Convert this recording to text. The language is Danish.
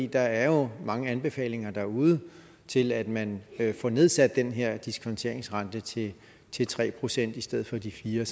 der er jo mange anbefalinger derude til at man får nedsat den her diskonteringsrente til til tre procent i stedet for de fire